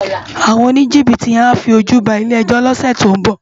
Áwòn ónijibiti yèn á fi ójú bá ilé èjò lòsè tó n bò